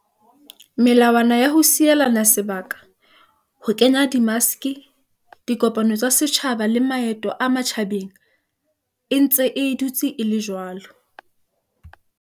Melawana ya ho sielana sebaka, ho kenya di maske, dikopano tsa setjhaba le maeto a matjhabeng e ntse e dutse e le jwalo.